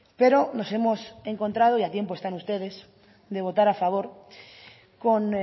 pero nos hemos encontrado y a tiempo están ustedes de votar a favor con